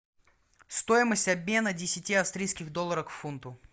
стоимость обмена десяти австрийских долларов к фунту